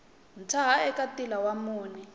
tshaha eka ntila wa mune